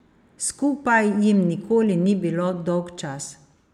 Skupaj jim nikoli ni bilo dolgčas.